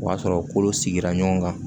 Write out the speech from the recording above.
O y'a sɔrɔ kolo sigira ɲɔgɔn kan